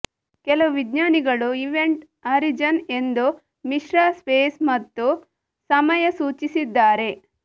ಕೆಲವು ವಿಜ್ಞಾನಿಗಳು event horizon ಎಂದು ಮಿಶ್ರ ಸ್ಪೇಸ್ ಮತ್ತು ಸಮಯ ಸೂಚಿಸಿದ್ದಾರೆ